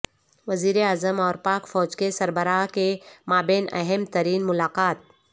وزیر اعظم اور پاک فوج کے سربراہ کے مابین اہم ترین ملاقات